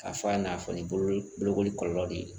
K'a fɔ a n'a fɔ ni bolokoli kɔlɔlɔ de ye